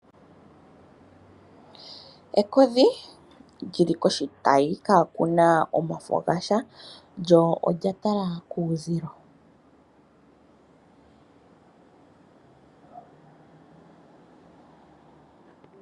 Ekodhi lyi li koshitayi kaakuna omafo gasha, lyo olya tala kuuzilo.